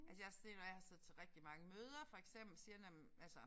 Altså jeg sådan én når jeg har siddet til rigtig mange møder for eksempel siger når men altså